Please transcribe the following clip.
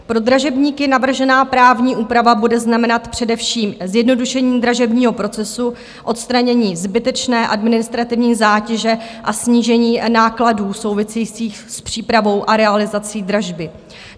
Pro dražebníky navržená právní úprava bude znamenat především zjednodušení dražebního procesu, odstranění zbytečné administrativní zátěže a snížení nákladů souvisejících s přípravou a realizací dražby.